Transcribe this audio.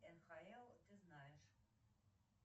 нхл ты знаешь